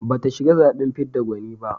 Bata shiga zaɓen fidda gwani ba.